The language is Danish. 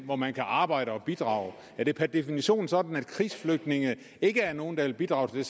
hvor man kan arbejde og bidrage er det per definition sådan at krigsflygtninge ikke er nogle der vil bidrage til